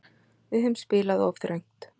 Við höfum spilað of þröngt.